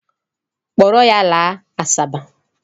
Kpọrọ ya laa Asaba.